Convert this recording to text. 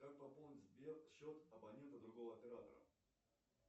как пополнить сбер счет абонента другого оператора